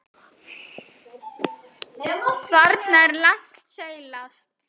Þarna er langt seilst.